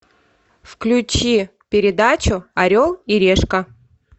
включи передачу орел и решка